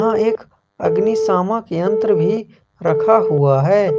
यह एक अग्निशामक यंत्र भी रखा हुआ है।